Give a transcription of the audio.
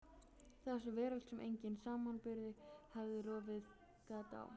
Þessi veröld sem enginn samanburður hafði rofið gat á.